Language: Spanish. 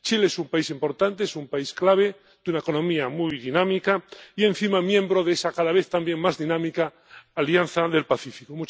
Chile es un país importante, es un país clave, de una economía muy dinámica y, encima, miembro de esa cada vez también más dinámica Alianza del Pacífico.